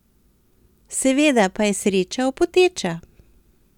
Seveda pa je sreča opoteča!